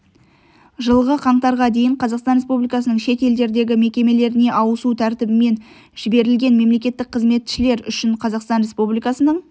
жылғы қаңтарға дейін қазақстан республикасының шет елдердегі мекемелеріне ауысу тәртібімен жіберілген мемлекеттік қызметшілер үшін қазақстан республикасының